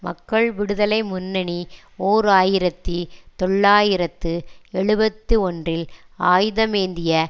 மக்கள் விடுதலை முன்னணி ஓர் ஆயிரத்தி தொள்ளாயிரத்து எழுபத்தி ஒன்றில் ஆயுதமேந்திய